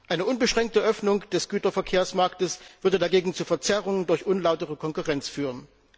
Eine unbeschränkte Öffnung des Güterverkehrsmarktes würde dagegen zur Verzerrung durch unlautere Konkurrenz führen.